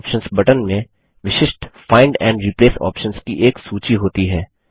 मोरे options button में विशिष्ट find and replace options की एक सूची होती है